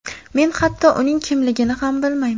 Men hatto uning kimligini ham bilmayman”.